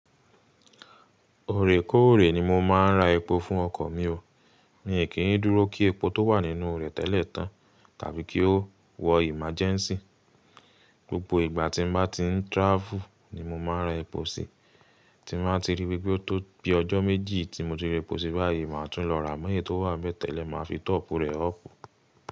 Òrèkòorè ni mo máa ń ra epo fún ọkọ̀ mi o, mi ò kí ń dúró kí epo tó wà nínú rẹ̀ tẹ́lẹ̀ tán tàbí kí ó wọ emergency gbogbo ìgbà tí n ba ti ń travel ni mo máa ń ra epo sí i, tí n bá ti rí pé ó tó bí ọjọ́ méjì tí mo ti ra epo sí i báyìí, màá tún lọ ra. Mọ́ eyii tó wà nibe tele, màá fi top rẹ̀ up.